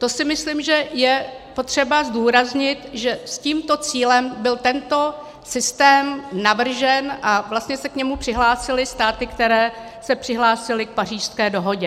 To si myslím, že je potřeba zdůraznit, že s tímto cílem byl tento systém navržen a vlastně se k němu přihlásily státy, které se přihlásily k Pařížské dohodě.